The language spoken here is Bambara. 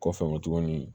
Kɔfɛ tugunni